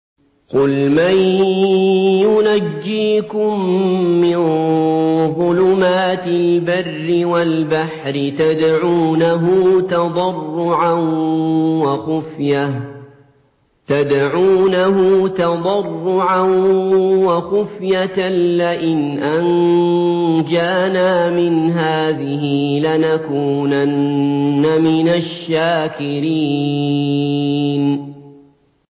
قُلْ مَن يُنَجِّيكُم مِّن ظُلُمَاتِ الْبَرِّ وَالْبَحْرِ تَدْعُونَهُ تَضَرُّعًا وَخُفْيَةً لَّئِنْ أَنجَانَا مِنْ هَٰذِهِ لَنَكُونَنَّ مِنَ الشَّاكِرِينَ